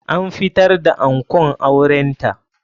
An fitar da ankon auren ta.